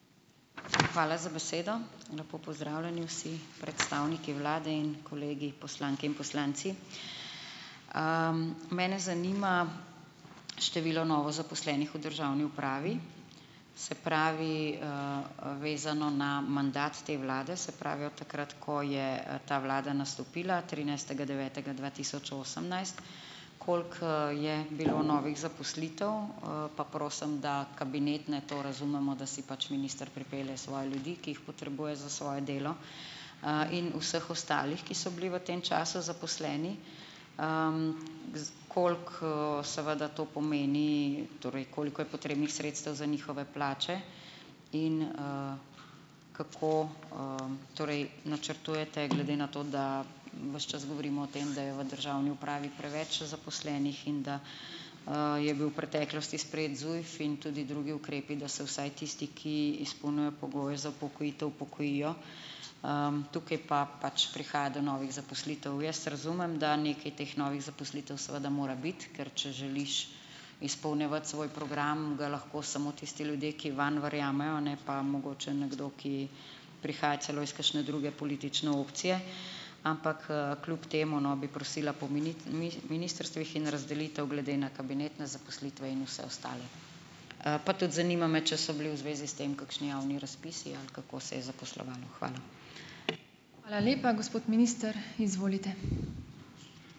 Hvala za besedo. Lepo pozdravljeni vsi predstavniki vlade in kolegi poslanke in poslanci. Mene zanima število novozaposlenih v državni upravi, se pravi, vezano na mandat te vlade, se pravi od takrat, ko je, ta vlada nastopila, trinajstega devetega dva tisoč osemnajst. Koliko, je bilo novih zaposlitev? Pa prosim, da kabinet, naj to razumemo, da si pač minister pripelje svoje ljudi, ki jih potrebuje za svoje delo, in vseh ostalih, ki so bili v tem času zaposleni. koliko, seveda to pomeni, torej koliko je potrebnih sredstev za njihove plače? In, kako, torej načrtujete glede na to, da ves čas govorimo o tem, da je v državni upravi preveč zaposlenih, in da, je bil v preteklosti sprejet ZUJF in tudi drugi ukrepi, da se vsaj tisti, ki izpolnjujejo pogoje za upokojitev, upokojijo. Tukaj pa pač prihaja do novih zaposlitev. Jaz razumem, da nekaj teh novih zaposlitev seveda mora biti, ker če želiš izpolnjevati svoj program, ga lahko samo tisti ljudje, ki vanj verjamejo, ne pa mogoče nekdo, ki prihaja celo iz kakšne druge politične opcije. Ampak, kljub temu, no, bi prosila po ministrstvih in razdelitev glede na kabinetne zaposlitve in vse ostale. Pa tudi zanima me, če so bili v zvezi s tem kakšni javni razpisi ali kako se je zaposlovalo. Hvala.